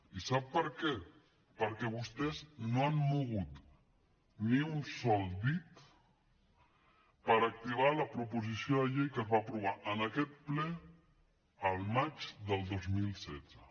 i sap per què perquè vostès no han mogut ni un sol dit per activar la proposició de llei que es va aprovar en aquest ple el maig del dos mil setze